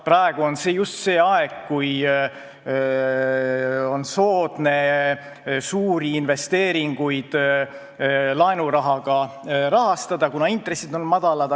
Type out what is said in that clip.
Praegu on just see aeg, kui on soodne suuri investeeringuid laenurahaga rahastada, kuna intressid on madalad.